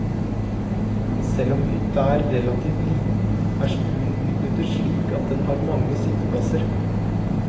Selv om hytta er relativt liten, er stuen utnyttet slik at den har mange sitteplasser.